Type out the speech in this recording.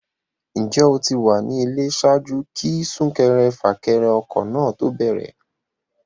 Ǹjẹ́ o ti wà nílé ṣáájú kí súnkẹrẹfàkẹrẹ ọkọ̀ náà ó tó bẹ̀rẹ̀?